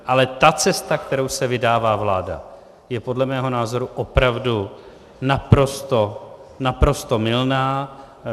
Ale ta cesta, kterou se vydává vláda, je podle mého názoru opravdu naprosto mylná.